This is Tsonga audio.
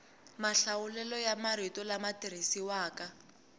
mahlawulelo ya marito lama tirhisiwaka